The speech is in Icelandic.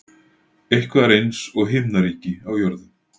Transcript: Eitthvað er eins og himnaríki á jörðu